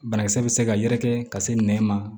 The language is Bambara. Banakisɛ bɛ se ka yɛrɛkɛ ka se nɛ ma